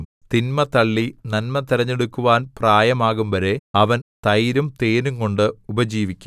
തിന്മ തള്ളി നന്മ തിരഞ്ഞെടുക്കുവാൻ പ്രായമാകുംവരെ അവൻ തൈരും തേനുംകൊണ്ട് ഉപജീവിക്കും